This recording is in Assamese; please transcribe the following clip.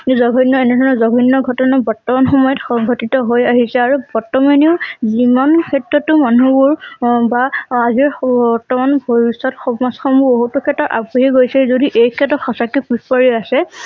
এই জঘণ্য এনে ধৰণৰ জঘণ্য ঘটনা বৰ্তমান সময়ত সংঘটিত হৈ আহিছে আৰু বৰ্তমানেও যিমান ক্ষেত্ৰটো মানুহবোৰ বাঅআজিৰ সু বৰ্তমান ভৱিষ্যত সমাজ খন বহুতো ক্ষেত্ৰত আগবাঢ়ি গৈছে যদি এই ক্ষেত্ৰত সঁচাকৈ পিছ পৰি আছে।